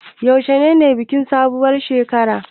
Yaushe ne bikin sabuwar shekarar.